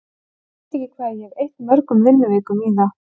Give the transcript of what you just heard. Ég veit ekki hvað ég hef eytt mörgum vinnuvikum í það.